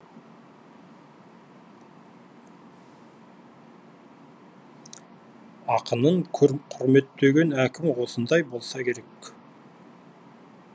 ақынын құрметтеген әкім осындай болса керек